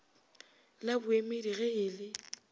la boemedi ge e le